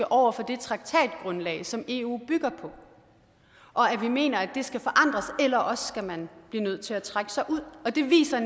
over for det traktatgrundlag som eu bygger på og at vi mener at det skal forandres eller også skal man blive nødt til at trække sig ud det viser